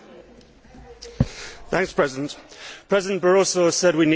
Mr President, President Barroso has said we need some positive action.